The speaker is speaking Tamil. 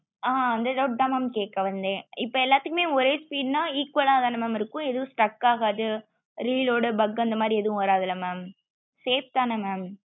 ஆஹ் அந்த doubt தா mam கேக்க வந்தே இப்போ எல்லாத்துக்குமே ஒரே speed னா equal ஆஹ் தானே mam இருக்கும் எதுவும் stuck ஆகாது reel ஊட bug அந்த மாதிரி ஏதும் வந்துராதே mam safe தான mam